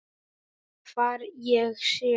Hvar ég sé.